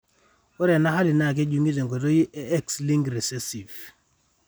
Ore ena hali naa kejung'I tenkoitoi e X linked recessive.